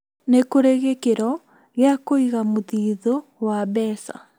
Nĩ kũrĩ gĩkĩro gĩa kũiga muthithũ wa mbeca